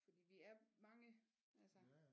Fordi vi er mange altså